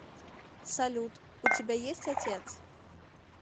салют у тебя есть отец